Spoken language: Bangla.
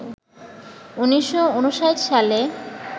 ১৯৫৯ সালে